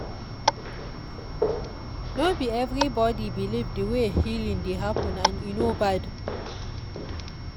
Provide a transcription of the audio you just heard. no be everybody believe the way healing dey happen and e no bad.